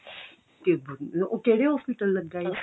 ਉਹ ਕਿਹੜੇ hospital ਲੱਗਾ ਏ